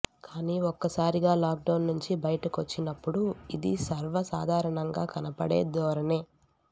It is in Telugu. కానీ ఒక్కసారిగా లాక్డౌన్ నుంచి బయటికొచ్చినప్పుడు ఇది సర్వసాధారణంగా కనబడే ధోరణే